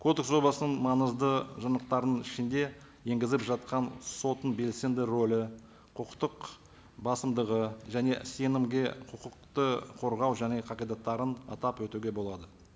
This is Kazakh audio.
кодекс жобасының маңызды жинақтарының ішінде енгізіп жатқан соттың белсенді рөлі құқықтық басымдығы және сенімге құқықты қорғау және қағидаттарын атап өтуге болады